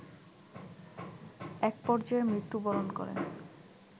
একপর্যায়ে মৃত্যুবরণ করেন